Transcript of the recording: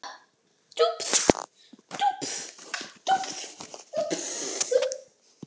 Því er við því að búast að afkvæmi þeirra séu bæði stór og þung.